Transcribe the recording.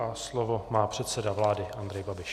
A slovo má předseda vlády Andrej Babiš.